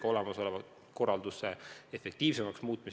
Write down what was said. Samuti saab praegust korraldust efektiivsemaks muuta.